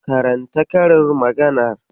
Karanta karin maganar.